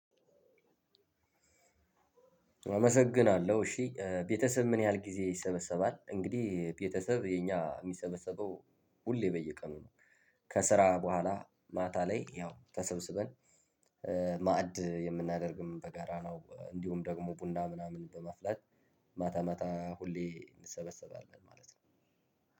አመሰግናለሁ እሺ። ቤተሰብ ምን ያህል ጊዜ ይሰበሰባ? እንግዲህ ቤተሰብ የኛ የሚሰበሰበው ሁሌ በየቀኑ ነው ከስራ በኋላ ማታ ላይ ያው ተሰብስበን ማዕድ የምናደርግም በጋራ ነው እንዲሁም ደግሞ ቡና ምናምን በመፍለጥ ማታ ማታ ሁሌ እንሰበሰባለን ማለት ነው።